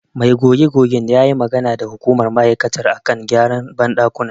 Mai goge-gogen ya yi magana da hukumar ma'aikatar a kan gyaran banɗakuna.